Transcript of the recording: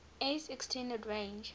s extended range